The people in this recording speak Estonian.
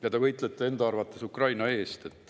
Ja te võitlete enda arvates Ukraina eest.